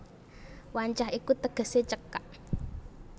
Wancah iku tegesé cekak